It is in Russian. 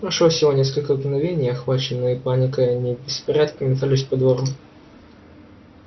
прошло всего несколько мгновений и охваченные паникой они в беспорядке метались по двору